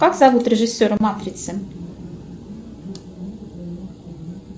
как зовут режиссера матрицы